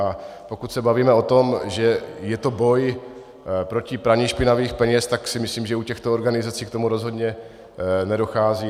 A pokud se bavíme o tom, že je to boj proti praní špinavých peněz, tak si myslím, že u těchto organizací k tomu rozhodně nedochází.